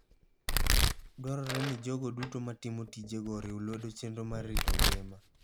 Dwarore ni jogo duto matimo tijego oriw lwedo chenro mar rito ngima.